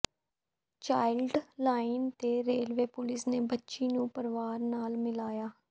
child line ਤੇ railway police ਨੇ ਬੱਚੀ ਨੂੰ ਪਰਿਵਾਰ ਨਾਲ ਮਿਲਾਇਆ